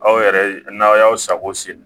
Aw yɛrɛ n'aw y'aw sago sen